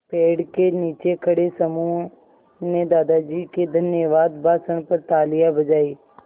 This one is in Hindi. पेड़ के नीचे खड़े समूह ने दादाजी के धन्यवाद भाषण पर तालियाँ बजाईं